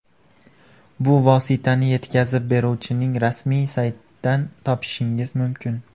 Bu vositani yetkazib beruvchining rasmiy saytidan topishingiz mumkin.